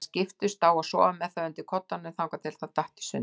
Þær skiptust á að sofa með það undir koddanum þangað til það datt í sundur.